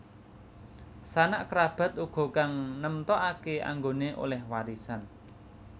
Sanak kerabat uga kang nemtokake anggone oleh warisan